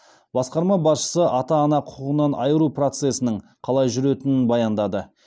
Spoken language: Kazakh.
басқарма басшысы ата ана құқығынан айыру процесінің қалай жүретінін баяндады